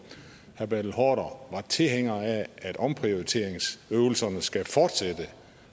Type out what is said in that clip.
herre bertel haarder er tilhænger af at omprioriteringsøvelserne skal fortsætte